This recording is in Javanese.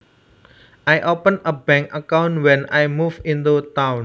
I opened a bank account when I moved into town